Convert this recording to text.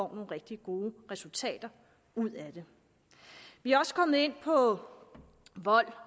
rigtig gode resultater ud af det vi er også kommet ind på vold